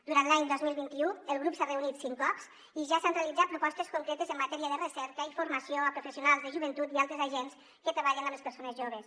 durant l’any dos mil vint u el grup s’ha reunit cinc cops i ja s’han realitzat propostes concretes en matèria de recerca i formació a professionals de joventut i altres agents que treballen amb les persones joves